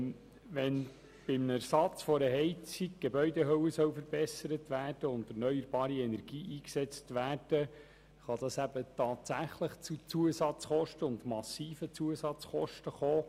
Wenn beim Ersatz der Heizung die Gebäudehülle verbessert und erneuerbare Energie eingesetzt werden soll, kann dies eben tatsächlich zu massiven Zusatzkosten führen.